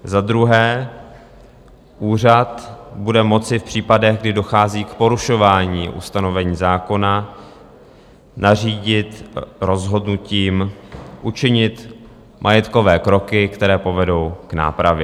Za druhé, úřad bude moci v případech, kdy dochází k porušování ustanovení zákona, nařídit rozhodnutím učinit majetkové kroky, které povedou k nápravě.